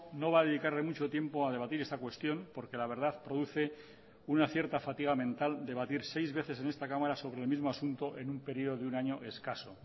no va a dedicarle mucho tiempo a debatir esta cuestión porque la verdad produce una cierta fatiga mental debatir seis veces en esta cámara sobre el mismo asunto en un periodo de un año escaso